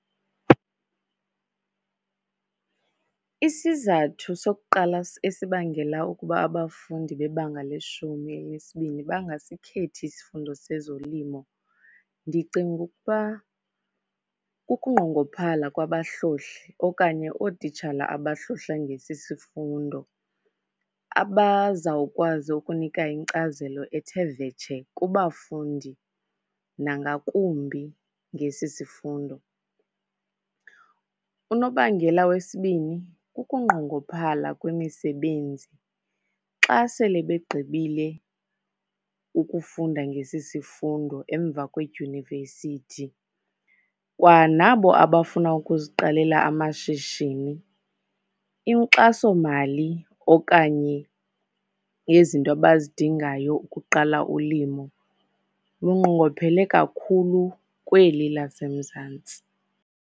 Isizathu sokuqala esibangela ukuba abafundi bebanga leshumi elinesibini bangasikhethi isifundo sezolimo, ndicinga ukuba kukunqongophala kwabahlohli okanye ootitshala abahlohla ngesi sifundo abazawukwazi ukunika inkcazelo ethe vetshe kubafundi nangakumbi ngesi sifundo. Unobangela wesibini kukunqongophala kwemisebenzi xa sele begqibile ukufunda ngesi sifundo emva kwedyunivesithi. Kwanabo abafuna ukuziqalela amashishini, inkxasomali okanye yezinto abazidingayo ukuqala ulimo lunqongophele kakhulu kweli laseMzantsi.